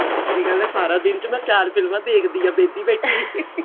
ਸੱਚੀ ਗੱਲ ਏ ਸਾਰਾ ਦਿਨ ਚ ਮੈਂ ਚਾਰ ਫ਼ਿਲਮਾ ਦੇਖਦੀ ਆਂ ਵਿਹਲੀ ਬੈਠੀ